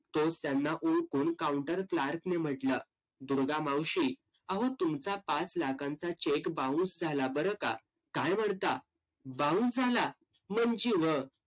तोच त्यांना ओळखून outer clerk ने म्हंटलं, दुर्गा मावशी आवं तुमचा पाच लाखांचा cheque bounce झाला बरं का? काय म्हणता? bounce झाला?